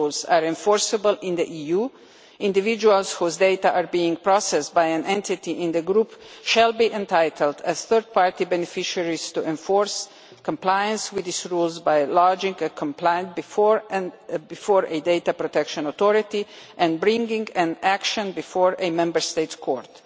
These rules are enforceable in the EU individuals whose data are being processed by an entity in the group shall be entitled as third party beneficiaries to enforce compliance with these rules by lodging a complaint before a data protection authority and bringing an action before a Member State's court.